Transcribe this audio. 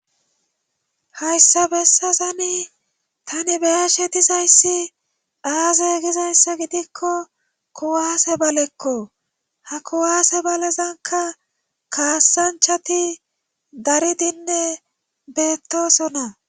Hayssa bessazami tani beyashe dizayssi aaze gizayssa gidikko kuwaase balekko ha kuwaase balezanka kaassanchati dari dinne beettosona